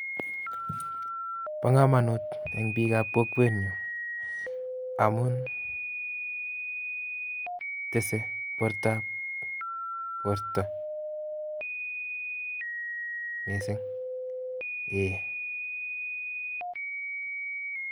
Bokomonut en biikab kokwenyun amun tesee borto mising.